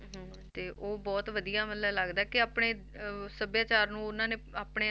ਹਮ ਤੇ ਉਹ ਬਹੁਤ ਵਧੀਆ ਮਤਲਬ ਲੱਗਦਾ ਹੈ ਕਿ ਆਪਣੇ ਅਹ ਸਭਿਆਚਾਰ ਨੂੰ ਉਹਨਾਂ ਨੇ ਆਪਣੇ